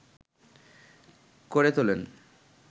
করে তোলেন